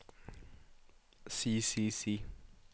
si si si